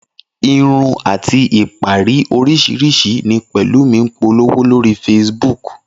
Irun àti ìpara oríṣiríṣi ni Pẹ̀lúmi ń polówó lórí Facebook